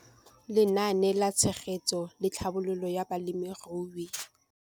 Lenaane la Tshegetso le Tlhabololo ya Balemirui